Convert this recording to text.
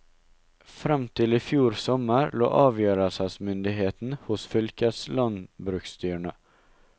Frem til i fjor sommer lå avgjørelsesmyndigheten hos fylkeslandbruksstyrene.